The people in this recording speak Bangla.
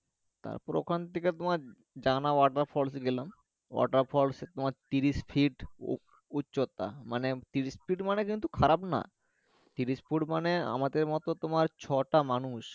তারপর ওখান থেকে jana waterfall এ গেলাম water falls তোমার ত্রিশ foot উ উচ্চতা মানে ত্রিশ foot মানে খারাপ না ত্রিশ foot মানে আমাদের মতো তোমার ছয়টা মানুষ